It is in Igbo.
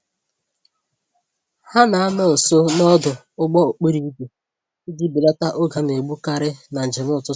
Ha na-anọ nso n'ọdụ ụgbọ-okporo-ígwè iji belata oge a naegbu karị na njem ụtụtụ